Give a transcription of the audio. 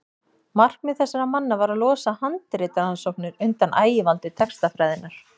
markmið þessara manna var að losa handritarannsóknir undan ægivaldi textafræðinnar